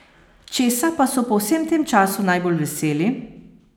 Česa pa so po vsem tem času najbolj veseli?